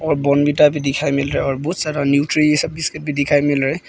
और बॉर्नविटा भी दिखाई मिल रहा और बहुत सारा न्यूट्री ये सब भी दिखाई मिल रहे हैं।